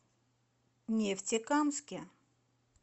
нефтекамске